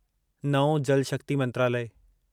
नओं जल शक्ति मंत्रालय